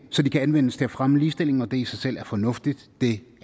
så de kan anvendes til at fremme ligestillingen når det i sig selv er fornuftigt det